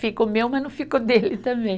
Fica meu, mas não fica o dele também.